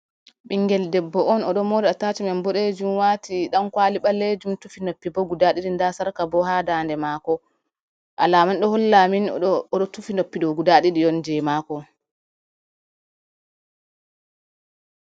Ɓingel debbo on oɗo mora atachmen boɗejum, wati dan kwali ɓalejum tufi noppi bo guda ɗiɗi, nda sarka bo ha ndande mako, alama ɗo holla amin oɗo tufi noppi ɗo guda ɗiɗi je mako.